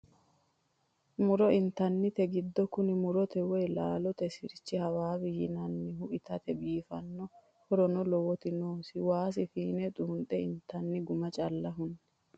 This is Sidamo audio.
Muro intannite giddo kuni murote woyi laalote sirchi Hababe yinannihu itate biifano horono lowoti noosi waasi fiine xunxe intanni guma calla hune.